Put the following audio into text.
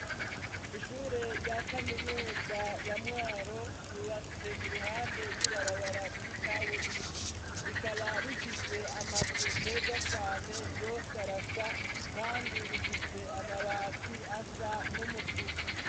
Ishure rya Kaminuza ya Mwaro, ryubatse iruhande y'ibarabara ry'ikaburimbo, rikaba rifise amazu meza cane , yos'arasa kandi rifise amabati asa n'umutuku.